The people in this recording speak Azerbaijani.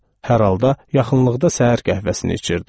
Hər halda, yaxınlıqda səhər qəhvəsini içirdi.